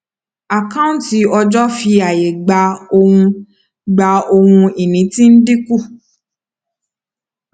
àkáǹtí ọjọ fi àyè gba ohun gba ohun ìní tí ń dínkù